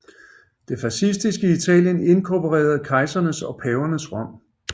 Det fascistiske Italien inkorporerede kejsernes og pavernes Rom